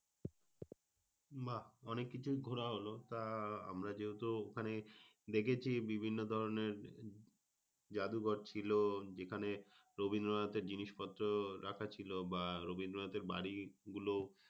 বাহ অনেক কিছুই ঘোরা হলো, তা আমরা যেহেতু ওখানে, দেখেছি বিভিন্ন ধরনের যাদুঘর ছিল যেখানে রবীন্দ্রনাথের জিনিসপত্র রাখা ছিল। বা রবীন্দ্রনাথের বাড়িগুলো,